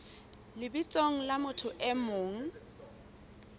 lebitsong la motho e mong